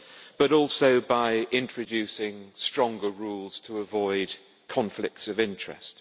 but also by introducing stronger rules to avoid conflicts of interest.